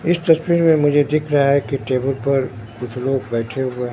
इस तस्वीर में मुझे दिख रहा है कि टेबल पर कुछ लोग बैठे हुए--